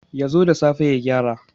Ya zo da safe ya gyara.